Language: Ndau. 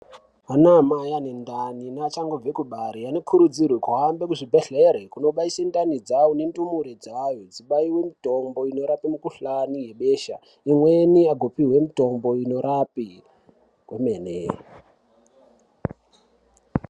Anamai anendani neachangobve kubara anookurudzirwe kuhambe kuzvibhehlere kunobayise ndani dzawo nendumure dzawo dzimbaiwe mitombo inorape mikhuhlani ne besha imweni angopihwe mitombo inorape kwemene.